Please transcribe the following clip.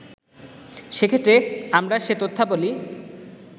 সেক্ষেত্রে আমরা সে তথ্যাবলি